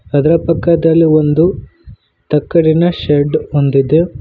ಅದರ ಪಕ್ಕದಲ್ಲಿ ಒಂದು ತಕ್ಕಡಿನ ಶೆಡ್ ಹೊಂದಿದೆ.